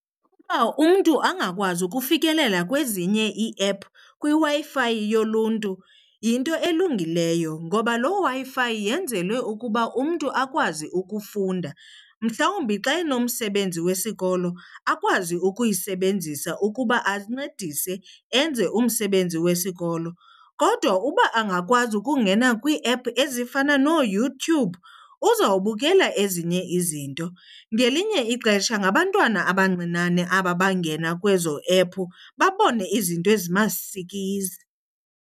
Uba umntu angakwazi ukufikelela kwezinye iiephu kwiWi-Fi yoluntu yinto elungileyo ngoba loo Wi-Fi yenzelwe ukuba umntu akwazi ukufunda. Mhlawumbi xa enomsebenzi wesikolo akwazi ukuyisebenzisa ukuba ancedise enze umsebenzi wesikolo, kodwa uba angakwazi ukungena kwiiephu ezifana nooYouTube uzobukela ezinye izinto. Ngelinye ixesha ngabantwana abancinane aba bangena kwezo ephu babone izinto ezimasikizi.